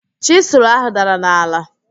Chịsụlụ áhụ̀ dara n'ala.